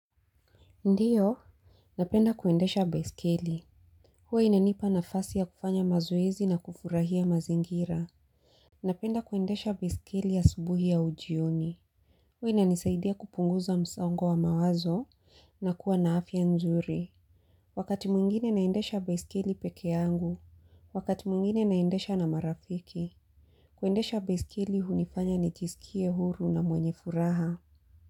Ndiyo, napenda kuendesha beiskeli. Huwa inanipa nafasi ya kufanya mazoezi na kufurahia mazingira. Napenda kuendesha baiskeli asubuhi au jioni. Huwa inanisaidia kupunguza msongo wa mawazo na kuwa na afia nzuri. Wakati mwingine naendesha baiskeli peke yangu. Wakati mwingine naendesha na marafiki. Kuendesha baiskeli hunifanya nijisikie huru na mwenye furaha.